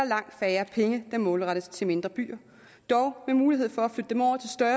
langt færre penge der målrettes til mindre byer dog med mulighed for